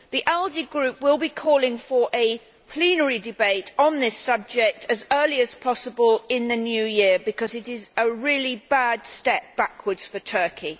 The ALDE Group will be calling for a plenary debate on this subject as early as possible in the new year because it is a really bad step backwards for Turkey.